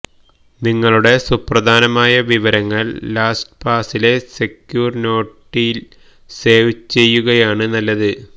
നിങ്ങളുടെ സുപ്രധാനമായ വിവരങ്ങള് ലാസ്റ്റ്പാസിലെ സെക്യൂര് നോട്ടില് സേവ് ചെയ്യുകയാണ് നല്ലത്